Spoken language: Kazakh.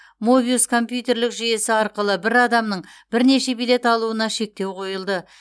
мобиус компьютерлік жүйесі арқылы бір адамның бірнеше билет алуына шектеу қойылды